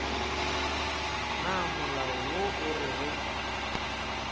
na molao wo o rego